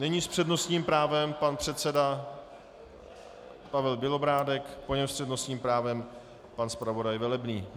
Nyní s přednostním právem pan předseda Pavel Bělobrádek, po něm s přednostním právem pan zpravodaj Velebný.